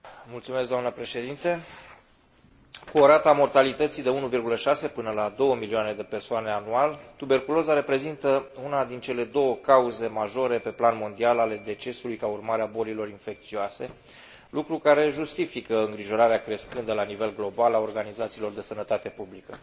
Cu o rată a mortalității de 1,6 până la 2 milioane de persoane anual, tuberculoza reprezintă una din cele două cauze majore pe plan mondial ale decesului ca urmare a bolilor infecțioase, lucru care justifică îngrijorarea crescândă, la nivel global, a organizațiilor de sănătate publică.